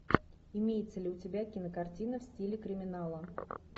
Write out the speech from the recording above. имеется ли у тебя кинокартина в стиле криминала